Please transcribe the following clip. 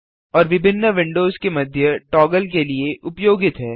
और विभिन्न विंडोज के मध्य टॉगल के लिए उपयोगित है